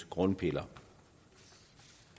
grundprincipper